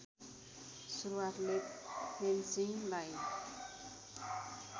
सुरूआतले फेन्सिङलाई